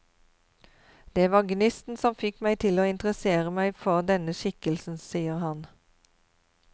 Det var gnisten som fikk meg til å interessere meg for denne skikkelsen, sier han.